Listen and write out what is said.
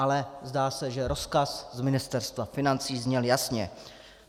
Ale zdá se, že rozkaz z Ministerstva financí zněl jasně.